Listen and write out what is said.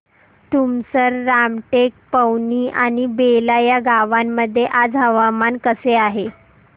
तुमसर रामटेक पवनी आणि बेला या गावांमध्ये आज हवामान कसे आहे